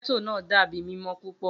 Getto naa dabi mimọ pupọ.